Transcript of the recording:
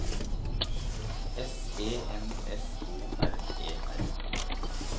S E N S O R E R